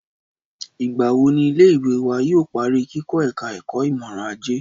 Ìgbà wo ni ilé ìwé wa yóò parí kikọ́ ẹ̀ka ẹ̀kọ́ ìmọọrọ̀ajé?